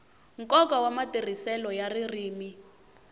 nkoka wa matirhiselo ya ririmi